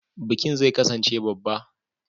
Bikin zai kasance babba.